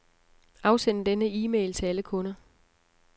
Afsend denne e-mail til alle kunder.